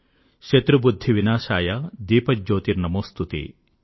శత్రుబుద్ధివినాశాయ దీపజ్యోతిర్నమోస్తుతే